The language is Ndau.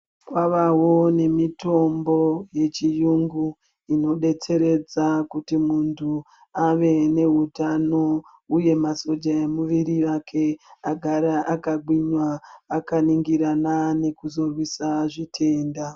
Kwavawo nemitombo yechiyungu inodetseredza kuti muntu ave nehutano uye masoja emuvuri wake agare akagwinya akaningirana nekuzorwisa zvitenda.